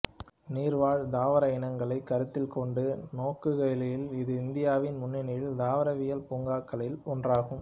நீர்வாழ் தாவர இனங்களைக் கருத்தில் கொண்டு நோக்குகையில் இது இந்தியாவின் முன்னணி தாவரவியல் பூங்காக்களில் ஒன்றாகும்